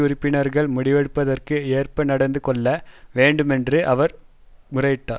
உறுப்பினர்கள் முடிவெடுப்பதற்கு ஏற்ப நடந்து கொள்ள வேண்டும் என்று அவர் முறையிட்டார்